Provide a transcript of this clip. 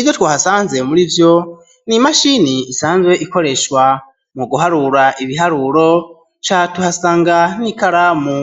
Ivyo twahasanze muri iri shure ni imashini isanzwe ikoreshwa mu guharura ibiharuro, ca tuhasanga n'ikaramu